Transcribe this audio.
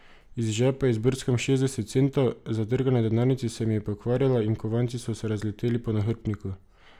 Iz žepa izbrskam šestdeset centov, zadrga na denarnici se mi je pokvarila in kovanci so se razleteli po nahrbtniku.